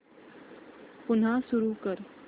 पुन्हा सुरू कर